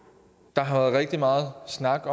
der har været rigtig meget snak